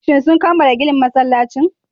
Shin sun kammala ginin masallacin